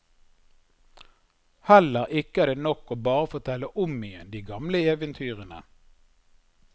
Heller ikke er det nok å bare fortelle om igjen de gamle eventyrene.